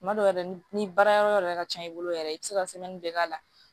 Tuma dɔw la yɛrɛ ni baara yɔrɔ ka ca i bolo yɛrɛ i bɛ se ka bɛɛ k'a la